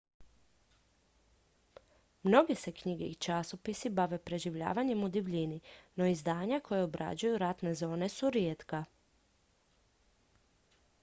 mnoge se knjige i časopisi bave preživljavanjem u divljini no izdanja koja obrađuju ratne zone su rijetka